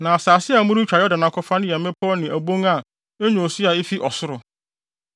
Na asase a moretwa Yordan akɔfa no yɛ mmepɔw ne abon a enya osu a efi ɔsoro.